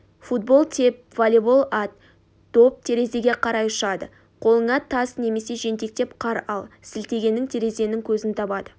футбол теп волейбол ат доп терезеге қарай ұшады қолыңа тас немесе жентектеп қар ал сілтегенің терезенің көзін табады